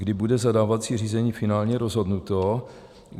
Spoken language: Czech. Kdy bude zadávací řízení finálně rozhodnuto?